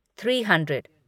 three hundred